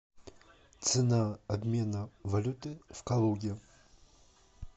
цена обмена валюты в калуге